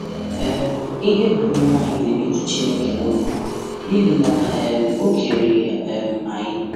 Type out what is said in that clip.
um Íhè banyere anyị na-emetụ Chineke n’òbí n’íhì na Ọ um kere um anyị.